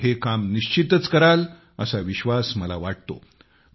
आपण हे काम निश्चितच कराल असा विश्वास मला वाटतो